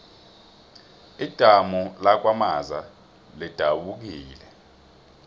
idamu lakwamaza lidabukile